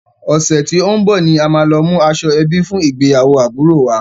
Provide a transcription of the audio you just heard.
Ọ̀sẹ̀ tí ó ń bọ̀ ni a máa lọ mú aṣọ ẹbí fún ìgbéyàwó àbúròo wa.